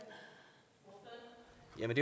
jeg vil